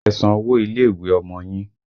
Ẹ san owó ilé ìwé Ọmọ yín!